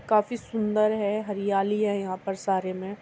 काफी सुंदर है। हरियाली है यहाँ पर सारे में --